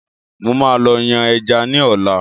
Mo máa lọ yàn ẹja ní ola